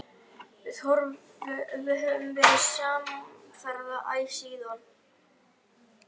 Við höfum verið samferða æ síðan.